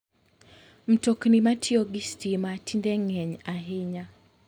Mtokni matiyo gi stima tinde ng'eny ahinya.